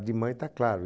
de mãe, está claro.